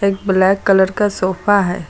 एक black colour का sofa है।